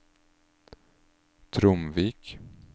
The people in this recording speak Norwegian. Tromvik